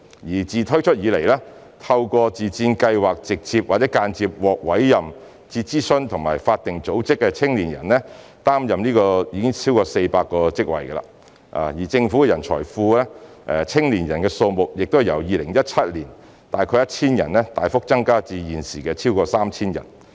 自自薦計劃推出以來，透過該計劃直接或間接獲委任至諮詢及法定組織擔任不同職位的青年人，已經超過400人；而政府的人才庫內的青年人數目已由2017年時約 1,000 人大幅增加至現時逾 3,000 人。